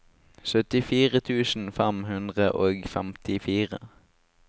syttifire tusen fem hundre og femtifire